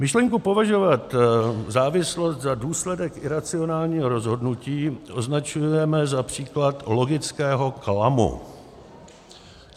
Myšlenku považovat závislost za důsledek iracionálního rozhodnutí označujeme za příklad logického klamu.